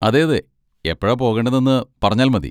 അതെയതെ, എപ്പോഴാ പോകേണ്ടതെന്ന് പറഞ്ഞാൽ മതി.